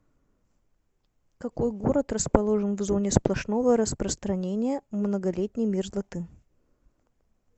какой город расположен в зоне сплошного распространения многолетней мерзлоты